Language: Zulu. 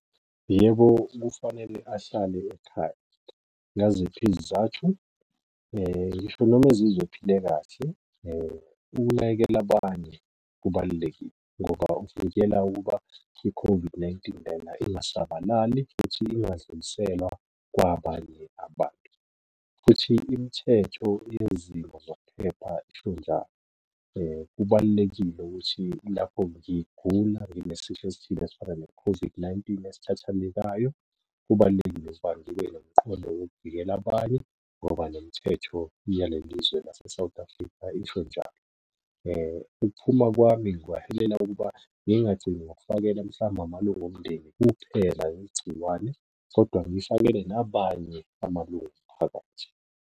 Yebo, kufanele ahlale ekhaya. Ngaziphi izizathu? Ngisho noma ezizwa ephile kahle, ukunakekela abanye kubalulekile, ngoba kuvikela ukuba i-COVID-19 lena ingasabalali, futhi ingadluliselwa kwabanye abantu, futhi imithetho yezimo zokuphepha isho njalo. Kubalulekile ukuthi lapho ngigula nginesifo esithile esifana ne-COVID-19 esithathelekayo, kubalulekile ukuba ngibe nomqondo wokuvikela abanye, ngoba nemithetho yalelizwe lase-South Africa isho njalo. Ukuphuma kwami kungaholela ukuba ngingagcini ngokufakela mhlawumbe amalunga omndeni kuphela igciwane, kodwa ngifakele nabanye amalungu omphakathi.